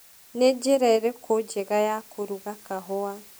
Nĩ njĩra ĩrĩkũ njega ya kũruga kahũa